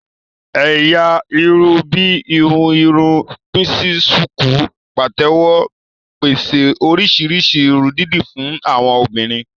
Ẹ̀yà irun bíi ìhun irun píísì, ṣùkú, pàtẹ́wọ́ ń pèsè oríṣi irun dídì fún àwọn obìnrin